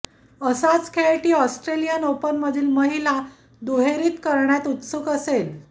असाच खेळ ती ऑस्ट्रेलियन ओपनमधील महिला दुहेरीत करण्यात उत्सुक असेल